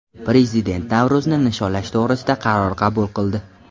Prezident Navro‘zni nishonlash to‘g‘risida qaror qabul qildi.